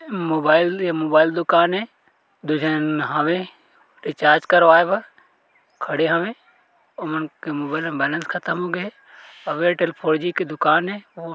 Mobile ए mobile दुकान ए दू झन हावे रिचार्ज करवाए बर खड़े हवे ओ मन के मोबाइल बैलेंस खत्म होगे हे अउ एयरटेल फोरजी के दुकान ए।